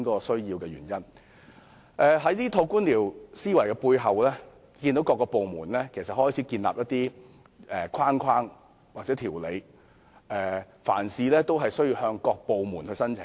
受這套官僚思維驅使，政府各部門相繼建立框架或規定，凡事也要向各部門申請。